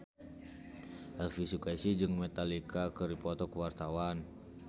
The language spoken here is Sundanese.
Elvi Sukaesih jeung Metallica keur dipoto ku wartawan